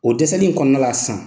O dɛsɛli in kɔnɔna la sisan.